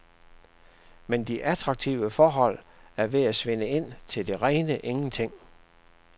Men de attraktive forhold er ved at svinde ind til det rene ingenting.